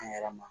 An yɛrɛ ma